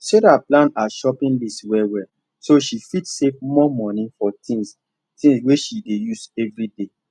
sarah plan her shopping list wellwell so she fit save more money for things things wey she dey use every day